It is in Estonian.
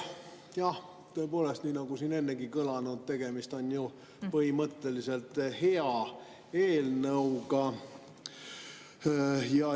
Jah, tõepoolest, nii nagu siin ennegi on kõlanud, tegemist on ju põhimõtteliselt hea eelnõuga.